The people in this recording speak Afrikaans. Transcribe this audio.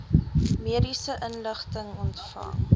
mediese inligting ontvang